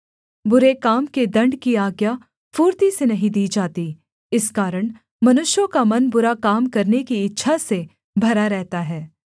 बुरे काम के दण्ड की आज्ञा फुर्ती से नहीं दी जाती इस कारण मनुष्यों का मन बुरा काम करने की इच्छा से भरा रहता है